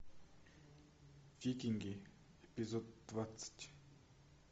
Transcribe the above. викинги эпизод двадцать